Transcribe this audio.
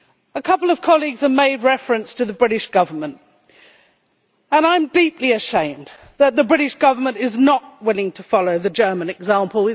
A couple of colleagues made reference to the British Government, and I am deeply ashamed that the British Government is not willing to follow the German example.